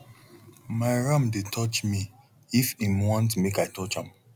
my ram dey touch me if em want make i touch am